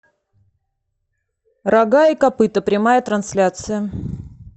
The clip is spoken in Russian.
рога и копыта прямая трансляция